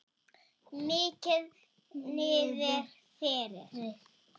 Mikið niðri fyrir.